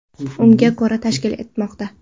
Unga ko‘ra: tashkil etmoqda.